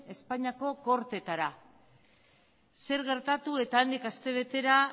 espainiako gortetara zer gertatu eta handik aste betera